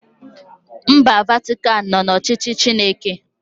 Mba Vatikan nọ n'ọchịchị Chineke